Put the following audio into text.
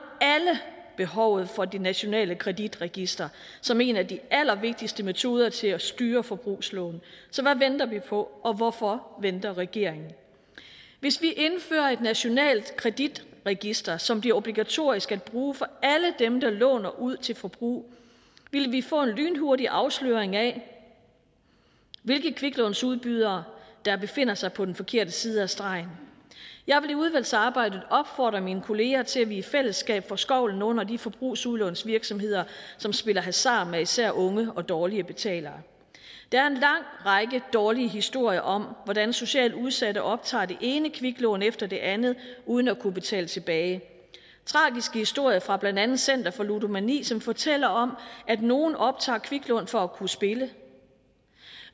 alle behovet for det nationale kreditregister som en af de allervigtigste metoder til at styre forbrugslån så hvad venter vi på og hvorfor venter regeringen hvis vi indfører et nationalt kreditregister som bliver obligatorisk at bruge for alle dem der låner ud til forbrug vil vi få en lynhurtig afsløring af hvilke kviklånsudbydere der befinder sig på den forkerte side af stregen jeg vil i udvalgsarbejdet opfordre mine kolleger til at vi i fællesskab får skovlen under de forbrugslånsvirksomheder som spiller hasard med især unge og dårlige betalere der er en lang række dårlige historier om hvordan socialt udsatte optager det ene kviklån efter det andet uden at kunne betale det tilbage tragiske historier fra blandt andet center for ludomani som fortæller om at nogle optager kviklån for at kunne spille